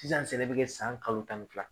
Sisan sɛnɛ bɛ kɛ san kalo tan fila